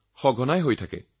নিশ্চয় পাতো